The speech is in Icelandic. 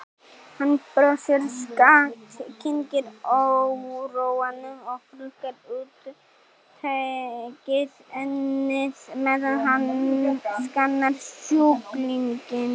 Hann brosir skakkt, kyngir óróanum og hrukkar útitekið ennið meðan hann skannar sjúklinginn.